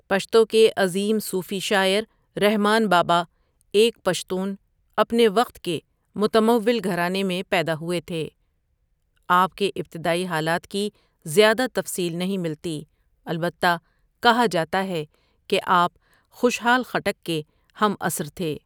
پشتو کے عظیم صوفی شاعر رحمان باباؒ ایک پشتون اپنے وقت کے متمول گھرانے میں پیداہوئے تھے آپ ؒکے ابتدائی حالات کی زیادہ تفصیل نہیں ملتی البتہ کہا جاتا ہے کہ آپ خوشحال خٹک کے ہم عصر تھے.